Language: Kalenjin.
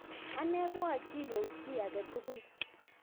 Anee koachii kou chii age tugul